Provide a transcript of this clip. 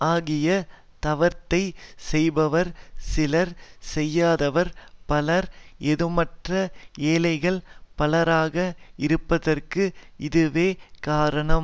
ஆகிய தவத்தைச் செய்பவர் சிலர் செய்யாதவர் பலர் ஏதுமற்ற ஏழைகள் பலராக இருப்பதற்கு இதுவே காரணம்